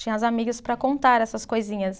Tinha as amigas para contar essas coisinhas.